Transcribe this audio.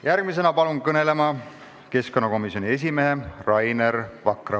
Järgmisena palun kõnelema keskkonnakomisjoni esimehe Rainer Vakra.